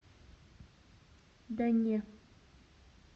да не